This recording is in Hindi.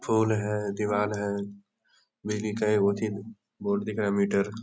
फ़ोन है दिवाल है बिजली का एगो अथी बोर्ड दिखा है मीटर --